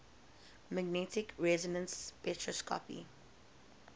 magnetic resonance spectroscopy